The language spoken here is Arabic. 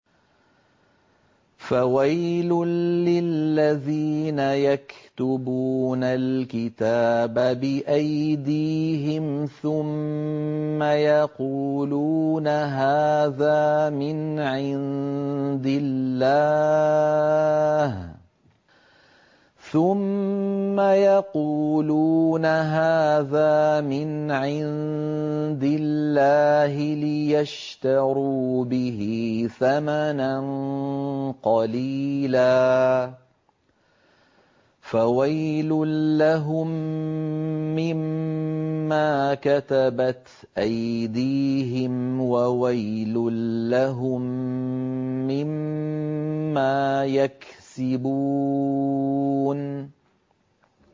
فَوَيْلٌ لِّلَّذِينَ يَكْتُبُونَ الْكِتَابَ بِأَيْدِيهِمْ ثُمَّ يَقُولُونَ هَٰذَا مِنْ عِندِ اللَّهِ لِيَشْتَرُوا بِهِ ثَمَنًا قَلِيلًا ۖ فَوَيْلٌ لَّهُم مِّمَّا كَتَبَتْ أَيْدِيهِمْ وَوَيْلٌ لَّهُم مِّمَّا يَكْسِبُونَ